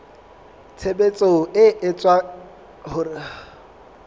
tshebetso e etsang hore ho